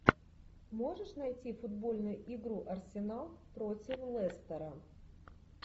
можешь найти футбольную игру арсенал против лестера